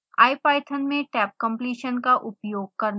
ipython में tabcompletion का उपयोग करना